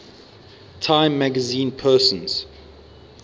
time magazine persons